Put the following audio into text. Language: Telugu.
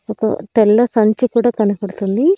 ఒక తెల్ల సంచి కూడా కనపడుతుంది.